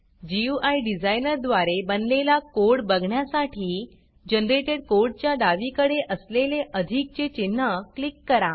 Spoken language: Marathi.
गुई डिझाइनर द्वारे बनलेला कोड बघण्यासाठी जनरेटेड कोड च्या डावीकडे असलेले अधिकचे चिन्ह क्लिक करा